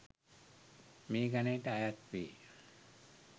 මේ ගණයට අයත් වේ.